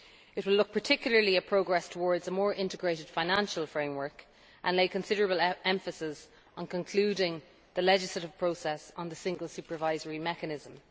It will look particularly at progress towards a more integrated financial framework, and lay considerable emphasis on concluding the legislative process on the Single Supervisory Mechanism.